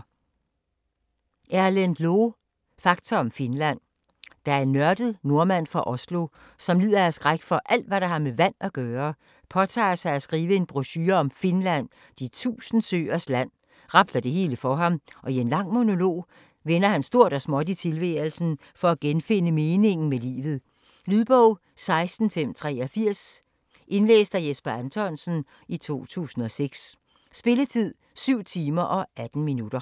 Loe, Erlend: Fakta om Finland Da en nørdet nordmand fra Oslo, som lider af skræk for alt hvad der har med vand at gøre, påtager sig at skrive en brochure om Finland, de tusínde søers land, rabler det helt for ham, og i en lang monolog vender han stort og småt i tilværelsen, for at genfinde meningen med livet. Lydbog 16583 Indlæst af Jesper Anthonsen, 2006. Spilletid: 7 timer, 18 minutter.